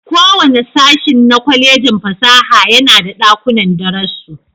Kowane sashin na Kwallejin fasaha yana da dakunan darasu.